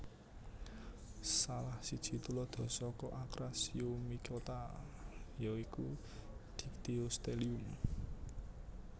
Salah siji tuladha saka Acrasiomycota ya iku Dyctyostelium